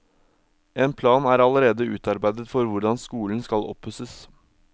En plan er allerede utarbeidet for hvordan skolen skal oppusses.